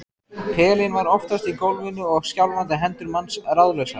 Pelinn var oftast í gólfinu og skjálfandi hendur manns ráðlausar.